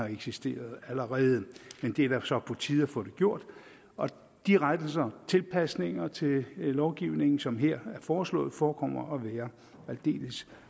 eksisterer allerede men det er så på tide at få det gjort de rettelser og tilpasninger til lovgivningen som her er foreslået forekommer at være aldeles